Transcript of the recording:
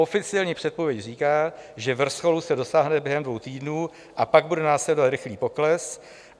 Oficiální předpověď říká, že vrcholu se dosáhne během dvou týdnů a pak bude následovat rychlý pokles.